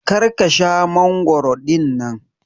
Kar ka Sha mangoro dinnan.